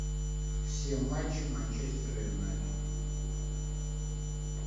все матчи манчестера юнайтед